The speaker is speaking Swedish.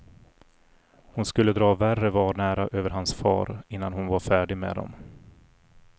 Hon skulle dra värre vanära över hans far innan hon var färdig med dem.